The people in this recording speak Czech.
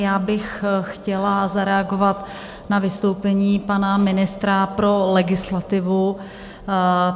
Já bych chtěla zareagovat na vystoupení pana ministra pro legislativu.